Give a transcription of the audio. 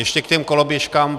Ještě k těm koloběžkám.